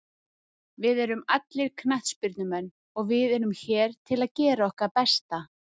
Við erum allir knattspyrnumenn og við erum hér til að gera okkar besta.